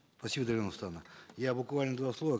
спасибо дарига нурсултановна я буквально два слова